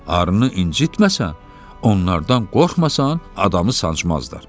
Arını incitməsən, onlardan qorxmasan, adamı sancmazlar.